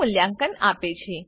મૂલ્યાંકન આપે છે